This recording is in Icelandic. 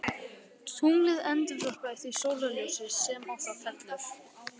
tunglið endurvarpar því sólarljósi sem á það fellur